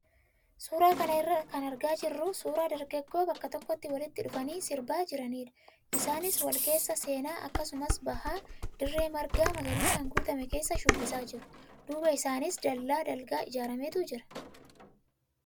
Suuraa kana irraa kan argaa jirru suuraa dargaggoo bakka tokkotti walitti dhufanii sirbaa jiranidha. Isaanis wal keessa seenaa akkasumas bahaa dirree marga magariisaan guutame keessa shubbisaa jiru. Duuba isaaniis dallaa dalga ijaarametu jira.